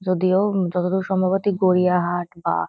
যদিও উম যতদূর সম্ভবত গড়িয়াহাট বা--